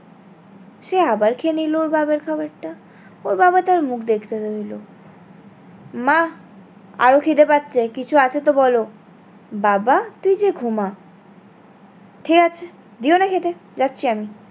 সে আবার খেয়ে নিলো বাবার খাবার টা ওর বাবা তার মুখ দেখতে রইলো মা আরো খিদে পাচ্ছে কিছু আছে তো বলো।